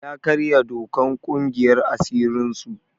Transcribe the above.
Ya karya dokan ƙungiyar asirin su.